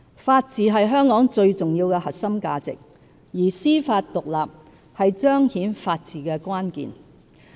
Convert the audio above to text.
法治是香港最重要的核心價值，而司法獨立是彰顯法治的關鍵。